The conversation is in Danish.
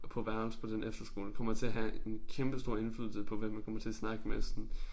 På værelse på den efterskole kommer til at have en kæmpestor indflydelse på hvem man kommer til at snakke med sådan